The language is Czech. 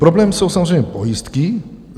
Problém jsou samozřejmě pojistky.